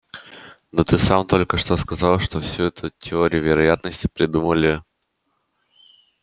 да ты сам только что сказал что всю эту теорию вероятности придумали